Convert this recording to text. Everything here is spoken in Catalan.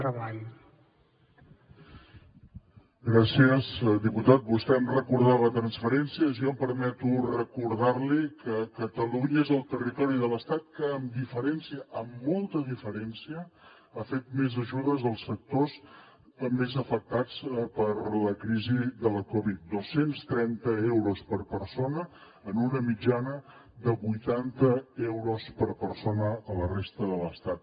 vostè em recordava transferències jo em permeto recordar li que catalunya és el territori de l’estat que amb diferència amb molta diferència ha fet més ajudes als sectors més afectats per la crisi de la covid dos cents i trenta euros per persona en una mitjana de vuitanta euros per persona a la resta de l’estat